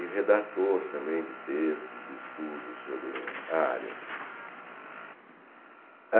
E redator também de textos, de estudos sobre a área.